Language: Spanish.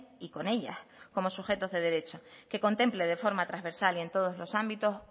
y con ellas como sujetos de derecho que contemple de forma transversal y en todos los ámbitos